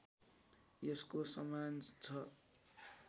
यसको समान छ